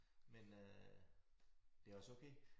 Men øh det også okay